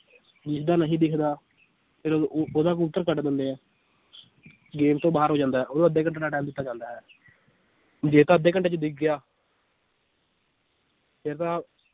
ਜਿਸਦਾ ਨਹੀਂ ਦਿਸਦਾ, ਫਿਰ ਉਹਦਾ ਕਬੂਤਰ ਕੱਟ ਦਿੰਦੇ ਆ game ਤੋਂ ਬਾਹਰ ਹੋ ਜਾਂਦਾ ਹੈ ਉਹਨੂੰ ਅੱਧੇ ਘੰਟੇ ਦਾ time ਦਿੱਤਾ ਜਾਂਦਾ ਹੈ ਵੀ ਜੇ ਤਾਂ ਅੱਧੇ ਘੰਟੇ 'ਚ ਦਿਖ ਗਿਆ ਫਿਰ ਤਾਂ